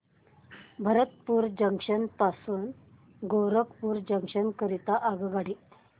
Bharatpur junction पासून Gorakhpur junction करीता आगगाडी